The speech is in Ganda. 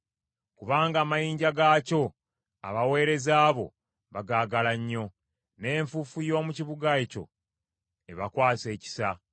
Kubanga amayinja gaakyo abaweereza bo bagaagala nnyo, n’enfuufu y’omu kibuga ekyo ebakwasa ekisa.